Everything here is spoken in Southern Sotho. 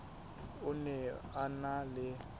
o ne a na le